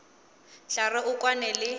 tla re o kwane le